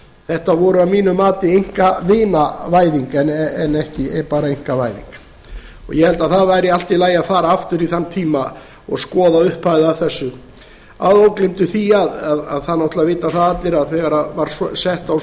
þetta voru að mínu mati einkavinavæðing en ekki bara einkavæðing og ég held að það væri allt í lagi að fara aftur í þann tíma og skoða upphafið að þessu að ógleymdu því að það náttúrlega vita það allir að þegar var sett á